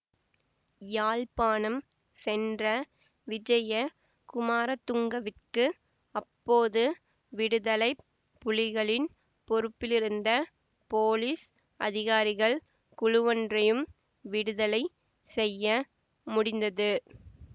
யாழ்ப்பாணம் சென்ற விஜய குமாரதுங்கவிற்கு அப்போது விடுதலை புலிகளின் பொறுப்பிலிருந்த போலிஸ் அதிகாரிகள் குழுவொன்றையும் விடுதலை செய்ய முடிந்தது